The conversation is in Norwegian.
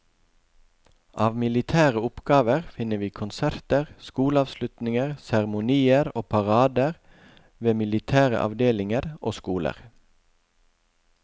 Av militære oppgaver finner vi konserter, skoleavslutninger, seremonier og parader ved militære avdelinger og skoler.